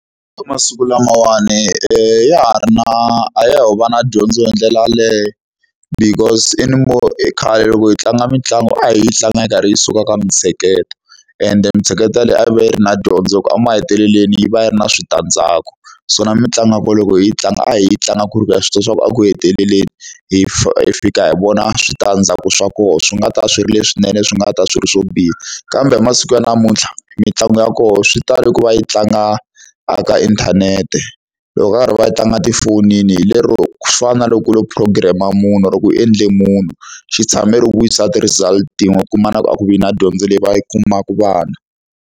Eka masiku lamawani ya ha ri na a ya ho va na dyondzo hi ndlela yaleyo. Because e khale loko hi tlanga mitlangu a hi yi tlanga yi karhi yi suka ka mintsheketo, ende mintsheketo yaleyi a yi va yi ri na dyondzo hikuva emahetelelweni yi va yi ri na switandzhaku. So na mitlangu ya kona loko hi yi tlanga, a hi yi tlanga ku ri ku ha swi tiva ku eku heteleleni, hi hi fika hi vona switandzhaku swa kona. Swi nga ta swi ri leswinene, swi nga ta swi ri swo biha. Kambe hi masiku ya namuntlha, mitlangu ya kona swi tale ku va yi tlanga eka inthanete. Loko va karhi va yi tlanga etifonini lero ku fana na loko u lo program-a munhu or-o ku endle munhu. Xi tshamela no vuyisa ti-result tin'we u kuma ku a ku vi na dyondzo leyi va yi kumaka vana.